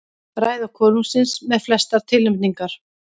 Ræða konungsins með flestar tilnefningar